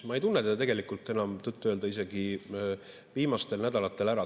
Ma ei tunne teda enam tõtt-öelda viimastel nädalatel ära.